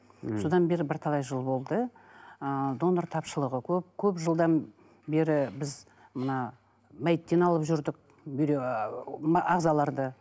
мхм сонда бері бірталай жыл болды ыыы донор тапшылығы көп жылдан бері біз мына мәйттен алып жүрдік ыыы ағзаларды